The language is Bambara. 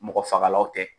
Mɔgɔ fagalaw tɛ